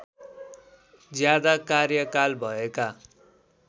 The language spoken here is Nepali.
ज्यादा कार्यकाल भएका